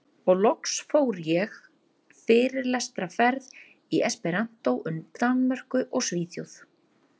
Og loks fór ég fyrirlestraferð í esperanto um Danmörku og Svíþjóð.